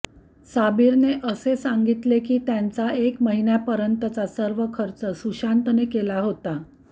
साबिरने असे सांगितले की त्यांचा एक महिन्यापर्यंतचा सर्व खर्च सुशांतने केला होता